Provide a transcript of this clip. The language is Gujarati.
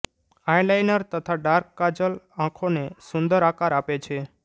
આઈ લાઈનર તથા ડાર્ક કાજલ આંખોને સુંદર આકાર આપે છે